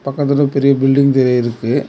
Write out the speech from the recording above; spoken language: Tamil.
பக்கத்துல பெரிய பில்டிங் தெரி இருக்கு.